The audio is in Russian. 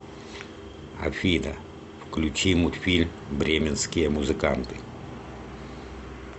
афина включи мультфильм бременские музыканты